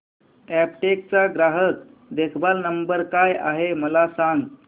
Aptech चा ग्राहक देखभाल नंबर काय आहे मला सांग